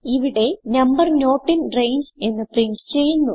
ഇവിടെ number not in range എന്ന് പ്രിന്റ് ചെയ്യുന്നു